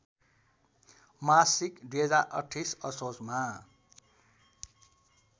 मासिक २०२८ असोजमा